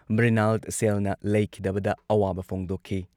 ꯃ꯭ꯔꯤꯅꯥꯜ ꯁꯦꯜꯅ ꯂꯩꯈꯤꯗꯕꯗ ꯑꯋꯥꯕ ꯐꯣꯡꯗꯣꯛꯈꯤ